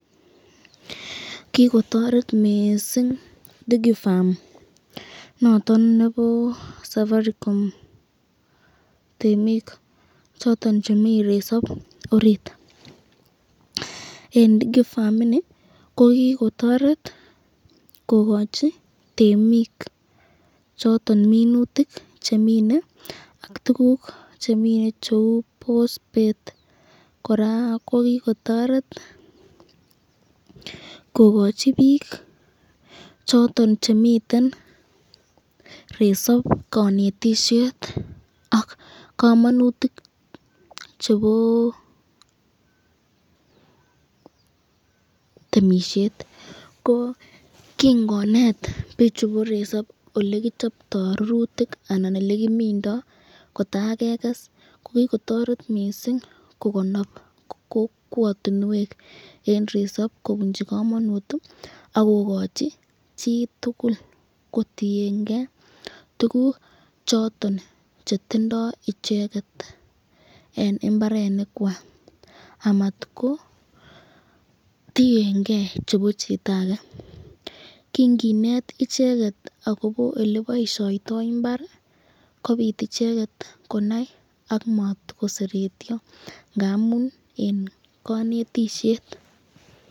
kigotoret mising DigiFarm noton nebo safaricom temiik choton chemii resob oriit, en DigiFarm ini ko kigotoreet kogochi temiik choton minutik chemine ak tuguk chemineen cheuu bosbeet, koraa kogigotoret kogochi biik choton chemiten resoob konetishet ak komonutik cheboo temishet, ko kigoneet bichuton bo resob olegichobtoo rurutik anan elekimindoo kotageges ko kigotoret mising kogonob kokwotinweek en resob kobunchi komonuut iih ak kogochi chitugul kotiyengee tuguuk choton chetindoo icheget en imbarenik kwaak, amat kotiyengee chebo chito age, kingineet icheget agobo eleboishoitoo imbaar iih kobiit icheget konai ak matagoseretyo ngamuun en konetisyeet.